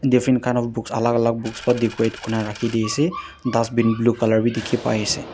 diffrent kind of books alak alak books ba decorate kurinaase raki d ase dustbin blue color b diki pai ase.